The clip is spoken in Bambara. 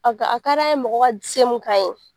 A a ka d'an ye mɔgɔ ka se mun k'an ye